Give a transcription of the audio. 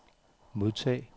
modtag